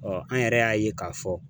an yɛrɛ y'a ye k'a fɔ.